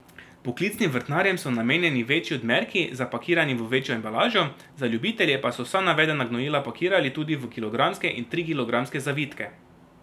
Poklicnim vrtnarjem so namenjeni večji odmerki, zapakirani v večjo embalažo, za ljubitelje pa so vsa navedena gnojila pakirali tudi v kilogramske in trikilogramske zavitke.